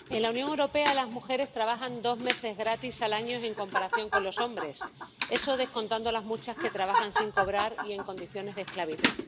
Señora presidenta, en la Unión Europea las mujeres trabajan dos meses gratis al año en comparación con los hombres, eso descontando las muchas que trabajan sin cobrar y en condiciones de esclavitud.